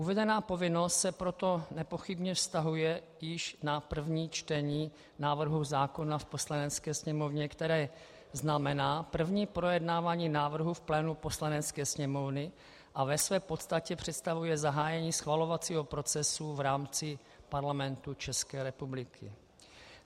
Uvedená povinnost se proto nepochybně vztahuje již na první čtení návrhu zákona v Poslanecké sněmovně, které znamená první projednávání návrhu v plánu Poslanecké sněmovny a ve své podstatě představuje zahájení schvalovacího procesu v rámci Parlamentu České republiky.